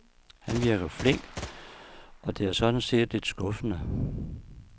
Han virker meget flink, og det er sådan set lidt skuffende.